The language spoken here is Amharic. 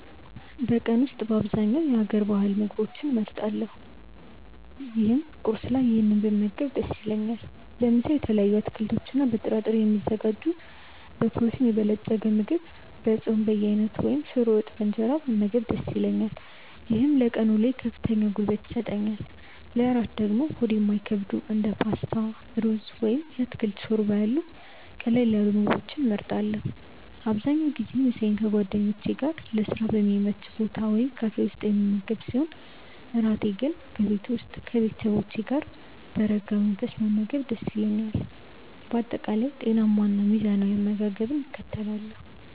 በቀን ውስጥ በአብዛኛው የሀገር ባህል ምግቦችን እመርጣለሁ ይህም ቁርስ ላይ ይህንን ብመገብ ደስ ይለኛል። ለምሳ በተለያዩ አትክልቶችና በጥራጥሬ የሚዘጋጅ በፕሮቲን የበለፀገ ምግብ፣ የጾም በየአይነቱ ወይም ሽሮ ወጥ በእንጀራ መመገብ ደስ ይለኛል። ይህም ለቀን ውሎዬ ከፍተኛ ጉልበት ይሰጠኛል። ለእራት ደግሞ ሆድ የማይከብዱ እንደ ፓስታ፣ ሩዝ ወይም የአትክልት ሾርባ ያሉ ቀለል ያሉ ምግቦችን እመርጣለሁ። አብዛኛውን ጊዜ ምሳዬን ከጓደኞቼ ጋር ለስራ በሚመች ቦታ ወይም ካፌ ውስጥ የምመገብ ሲሆን፣ እራቴን ግን በቤቴ ከቤተሰቦቼ ጋር በረጋ መንፈስ መመገብ ደስ ይለኛል። በአጠቃላይ ጤናማና ሚዛናዊ አመጋገብን እከተላለሁ።